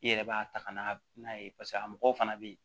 I yɛrɛ b'a ta ka n'a n'a ye paseke a mɔgɔw fana bɛ yen